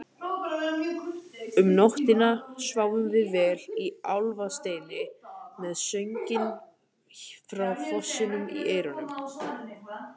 Um nóttina sváfum við vel í Álfasteini með sönginn frá fossinum í eyrunum.